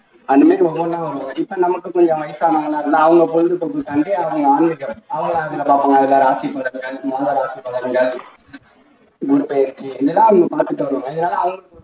அந்த மாதிரி ஒன்னொன்னா வரும் இப்போ நமக்கு கொஞ்சம் ராசி பலன்கள் பலன்கள்